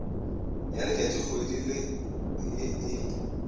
ya letšatšikgwedi la ye e